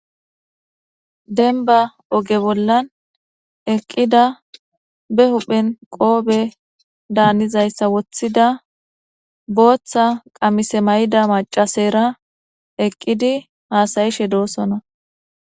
denba oge bollan eqqida be huphen qoofe daanizayssa woththida booththa qamise mayida macaseyira eqqidi haasayishe doosona